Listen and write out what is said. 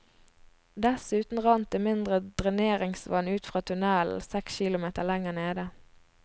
Dessuten rant det mindre dreneringsvann ut fra tunnelen seks kilometer lenger nede.